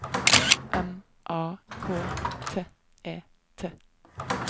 M A K T E T